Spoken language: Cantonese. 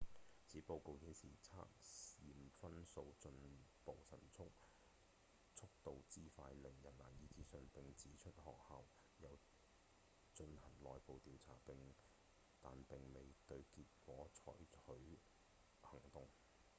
此報告顯示測驗分數進步速度之快令人難以置信並指出學校有進行內部調查但並未對結果採許行動